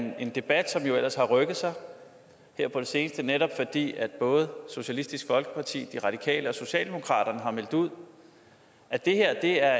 er en debat som jo ellers har rykket sig her på det seneste netop fordi både socialistisk folkeparti de radikale og socialdemokratiet har meldt ud at det her